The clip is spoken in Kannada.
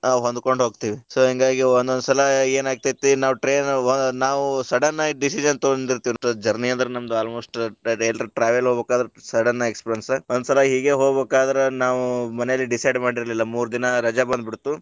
ಹೊಂದಕೊಂಡ ಹೋಗ್ತಿವಿ so ಹಿಂಗಾಗಿ ಒಂದೊಂದ ಸಲಾ ಏನ ಆಗ್ತೇತಿ ನಾವು train ಒಳಗ ನಾವು sudden ಆಗಿ decision ತೊಗೊಂತೇವಿ journey ಅದ್ರ ನಮದ. almost ಹಿಂತಾದ ಏನಾರ travel ಅದ್ರ ಹೋಬೇಕಾದ್ರ sudden experience ಒಂದ ಸಲಾ ಹೀಗೆ ಹೋಗ್ಬೇಕಾದ್ರ ನಾವು ಮನೇಲಿ decide ಮಾಡಿರಲಿಲ್ಲ ಮೂರ ದಿನಾ ರಜಾ ಬಂದ ಬಿಡ್ತು.